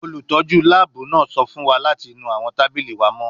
Olutọju laabu naa sọ fun wa lati nu awọn tabili wa mọ